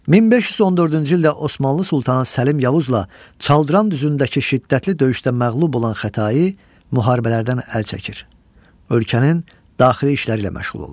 1514-cü ildə Osmanlı sultanı Səlim Yavuzla Çaldıran düzündəki şiddətli döyüşdə məğlub olan Xətai müharibələrdən əl çəkir, ölkənin daxili işləri ilə məşğul olur.